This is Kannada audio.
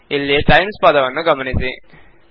ಇಲ್ಲಿ ಟೈಮ್ಸ್ ಪದವನ್ನು ಗಮನಿಸಿ